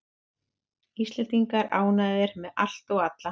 Íslendingar ánægðir með allt og alla